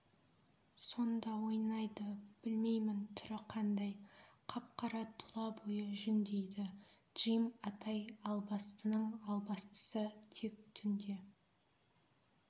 сонда ойнайды білмеймін түрі қандай қап-қара тұла бойы жүн дейді джим атай албастының албастысы тек түнде